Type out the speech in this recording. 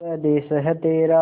स्वदेस है तेरा